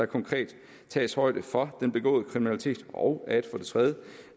konkret tages højde for den begåede kriminalitet og